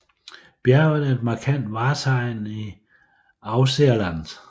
Bjerget er et markant vartegn i Ausseerland